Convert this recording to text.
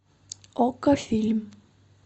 окко фильм